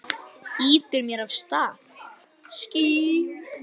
Ýtir mér af stað.